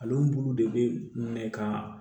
Ale bulu de bɛ minɛ ka